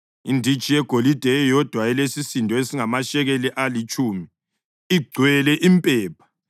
inditshi yegolide eyodwa elesisindo esingamashekeli alitshumi, igcwele impepha;